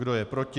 Kdo je proti?